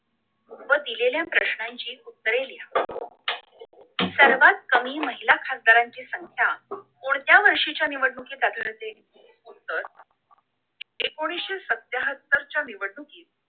व दिलेल्या प्रश्नांची उत्तरे लिहा सर्वात कमी महिला खासदारांची संख्या कोणत्या वर्षीच्या निवडणुकीत आढळते तर एकोणीशे शत्याहत्तर निवडणुकीत